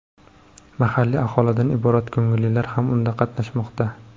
Mahalliy aholidan iborat ko‘ngillilar ham unda qatnashmoqda.